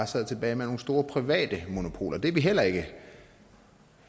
sidde tilbage med nogle store private monopoler det er vi heller ikke